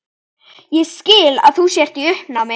Ég skil að þú sért í uppnámi.